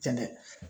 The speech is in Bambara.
Jɛnɛ